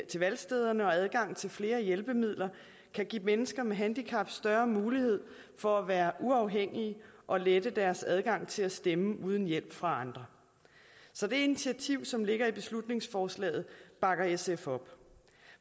til valgstederne og adgang til flere hjælpemidler kan give mennesker med handicap større mulighed for at være uafhængige og lette deres adgang til at stemme uden hjælp fra andre så det initiativ som ligger i beslutningsforslaget bakker sf op